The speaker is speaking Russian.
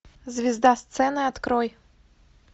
звезда сцены открой